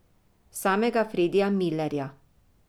Samega Fredija Milerja!